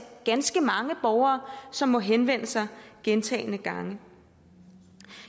ganske mange borgere som må henvende sig gentagne gange